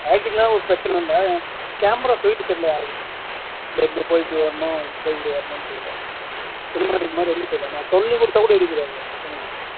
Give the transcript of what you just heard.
acting லா ஒரு பிரச்சனை இல்லை camera shoot தெரியல யாருக்குமே இந்தா இப்படி போய் இப்படி வரனும் இப்படி போய் இப்படி வரனும் தெரியல cinematic மாதிரி எடுக்க தெரியல நான் சொல்லுக்குடுத்தா கூட எடுக்க தெரியாது பசங்களுக்கு